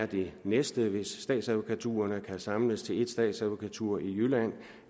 det næste er hvis statsadvokaturerne kan samles til én statsadvokatur i jylland